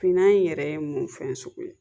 Finna in yɛrɛ ye mun fɛn sugu ye?